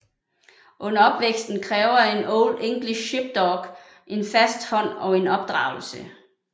Under opvæksten kræver en Old English Sheepdog en fast hånd og opdragelse